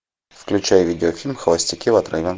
включай видеофильм холостяки в отрыве